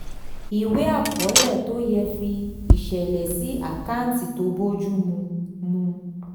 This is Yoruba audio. ìwé àkọọlẹ tó yẹ fi ìṣẹ̀lẹ̀ sí àkáǹtì tó bójú mu. mu.